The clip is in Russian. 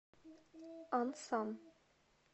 ансан